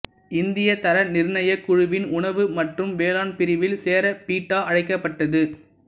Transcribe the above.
இந்தியத் தர நிர்ணயக் குழுவின் உணவு மற்றும் வேளாண் பிரிவில் சேர பீட்டா அழைக்கப்பட்டது